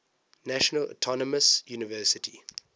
national autonomous university